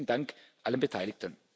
Besten Dank allen Beteiligten.